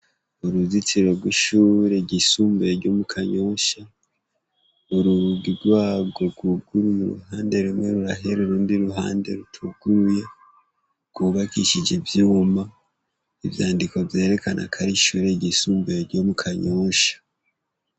Uruzitiro rw'ishuri ry'isumbuye ryo mu Kanyosha, ni urugi rwago rwugurua uruhande rumwe rurahera n'urundi iruhande rutuguruye, rwubakije ivyuma, ivyandiko vyerekana ko ari ishure ry'isumbuye ryo mu Kanyosha.